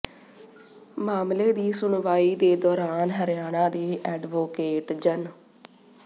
ਮਾਮਲੇ ਦੀ ਸੁਣਵਾਈ ਦੇ ਦੌਰਾਨ ਹਰਿਆਣਾ ਦੇ ਐਡਵੋਕੇਟ ਜਨ